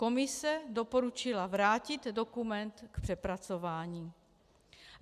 Komise doporučila vrátit dokument k přepracování.